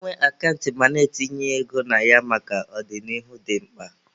Ị nwe akant ma na-etinye ego na ya maka ọ dị n'ihu dị mkpa